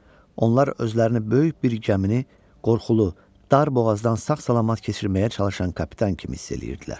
Onlar özlərini böyük bir gəmini qorxulu, dar boğazdan sağ-salamat keçirməyə çalışan kapitan kimi hiss eləyirdilər.